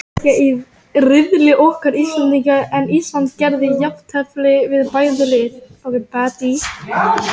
Þórir: Er eitthvað sem bendir til þess hvernig þessi eldur kviknaði?